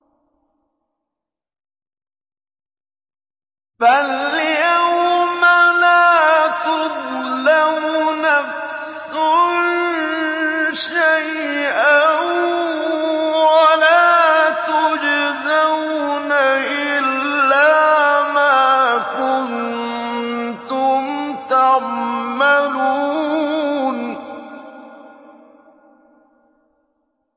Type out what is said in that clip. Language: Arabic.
فَالْيَوْمَ لَا تُظْلَمُ نَفْسٌ شَيْئًا وَلَا تُجْزَوْنَ إِلَّا مَا كُنتُمْ تَعْمَلُونَ